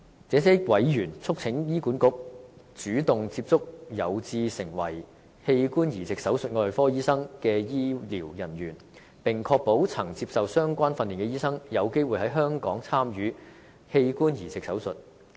這些委員促請醫管局，主動接觸有志成為器官移植手術外科醫生的人員，並確保曾接受相關訓練的醫生有機會在香港參與器官移植手術。